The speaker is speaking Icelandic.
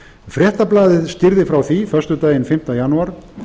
fréttablaðið skýrði frá því föstudaginn fimmta janúar